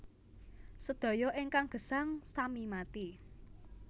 Sedaya ingkang gesang sami mati